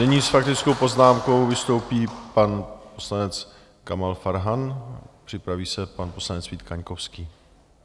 Nyní s faktickou poznámkou vystoupí pan poslanec Kamal Farhan, připraví se pan poslanec Vít Kaňkovský.